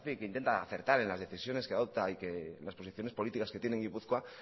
que hace que intenta acertar en las decisiones que adopta y que las posiciones política que tiene gipuzkoa ha